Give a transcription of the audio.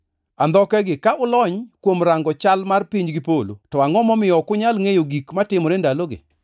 Andhokegi! Ka ulony kuom rango chal mar piny gi polo to angʼo momiyo ok unyal ngʼeyo gik matimore ndalogi?